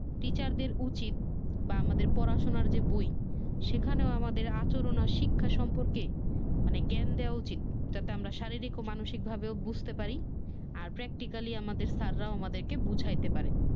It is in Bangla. teachers দের উচিত বা আমাদের পড়াশোনার যে বই সেখানেও আমাদের আচরণ আর শিক্ষা সম্পর্কে জ্ঞান দেওয়া উচিত। যাতে আমরা শাররীক ও মানসিক ভাবে বোজতে পারি আর practically আমাদের স্যাররাও আমাদের বোঝাইতে পারে